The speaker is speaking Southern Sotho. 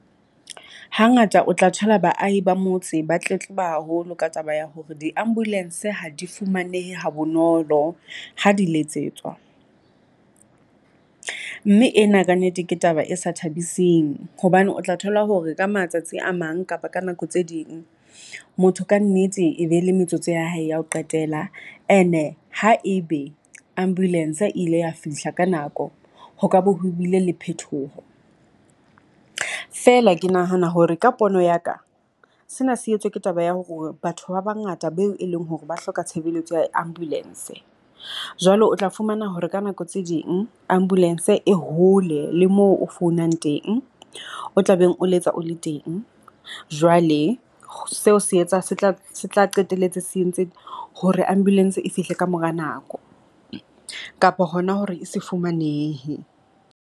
Hangata o tla thola baahi ba motse ba tletleba haholo ka taba ya hore di-Ambulance ha di fumanehe ha bonolo ha di letsetswa, mme ena kannete ke taba e sa thabiseng. Hobane o tla thola hore ka matsatsi a mang kapa ka nako tse ding motho kannete e be le metsotso ya hae ya ho qetela. And-e ha e be Ambulance e ile ya fihla ka nako ho ka bo ho bile le phetoho, feela ke nahana hore ka pono ya ka. Sena se etswe ke taba ya hore batho ba bangata ba eo e leng hore ba hloka tshebeletso ya Ambulance. Jwale o tla fumana hore ka nako tse ding Ambulance e hole le moo o founang teng, o tla beng o letsa o le teng. Jwale seo se etsa se tla se tla qetelletse se entse hore Ambulance e fihle ka mora nako kapo hona hore e se fumanehe.